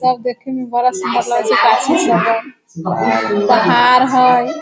तब देखने में बड़ा सुन्दर लगे छे पहाड़ हय।